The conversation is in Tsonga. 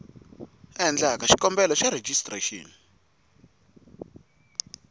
a endlaku xikombelo xa rejistrexini